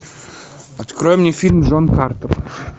открой мне фильм джон картер